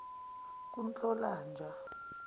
kunhlolanja